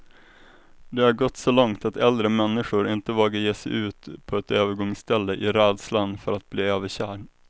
Det har gått så långt att äldre människor inte vågar ge sig ut på ett övergångsställe, i rädslan för att bli överkörd.